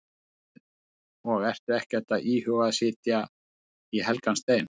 Hafsteinn: Og ertu ekkert að íhuga að setja í helgan stein?